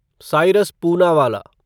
Cyrus Poonawalla